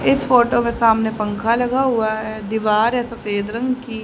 इस फोटो के सामने पंखा लगा हुआ है दीवार है सफेद रंग की--